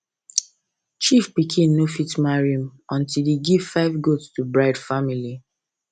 chief pikin no fit marry until he give five goat to bride family